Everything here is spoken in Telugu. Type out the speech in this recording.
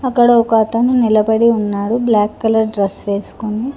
అక్కడ ఒక అతను నిలబడి ఉన్నాడు బ్లాక్ కలర్ డ్రెస్ వేసుకొని.